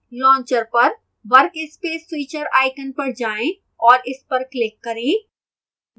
launcher पर workspace switcher icon पर जाएं और इस पर click करें